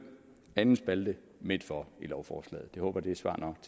anden spalte midtfor i lovforslaget jeg håber det er svar nok